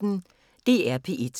DR P1